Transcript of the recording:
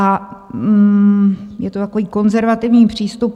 A je to takový konzervativní přístup.